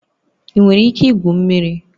Ị nwere ike igwu mmiri?